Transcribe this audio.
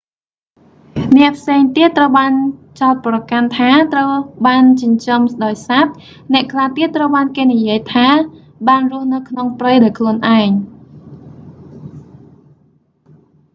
អ្នកផ្សេងទៀតត្រូវបានចោទប្រកាន់ថា ត្រូវបានចិញ្ចឹមដោយសត្វ អ្នកខ្លះទៀតត្រូវបានគេនិយាយថា បានរស់នៅក្នុងព្រៃដោយខ្លួនឯង